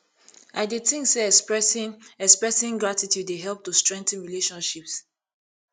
i dey think say expressing expressing gratitude dey help to strengthen relationships